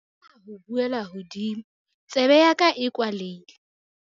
o tla tlameha ho buela hodimo, tsebe ya ka e kwalehile